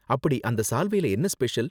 அப்படி அந்த சால்வைல என்ன ஸ்பெஷல்?